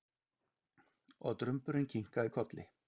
Og Drumburinn kinkaði kolli.